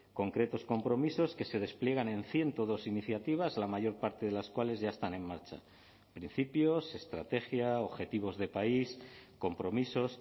concretos compromisos que se despliegan en ciento dos iniciativas la mayor parte de las cuales ya están en marcha principios estrategia objetivos de país compromisos